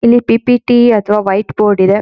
ಇಲ್ಲಿ ಪಿ.ಪಿ.ಟಿ ಅಥವಾ white board ಇದೆ.